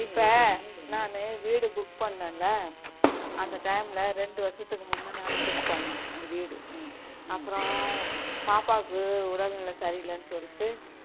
இப்போ நானு வீடு book பண்ணேன்ல அந்த time ல இரண்டு வருஷத்துக்கு முன்ன நான் book பண்ணேன் அந்த வீடு அப்பறோம் பாப்பாவுக்கு உடல் நிலை சரி இல்லன்னு சொல்லிட்டு